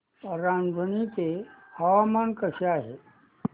रांझणी चे हवामान कसे आहे